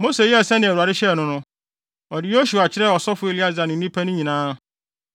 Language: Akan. Mose yɛɛ sɛnea Awurade hyɛɛ no no. Ɔde Yosua kyerɛɛ ɔsɔfo Eleasar ne nnipa no nyinaa.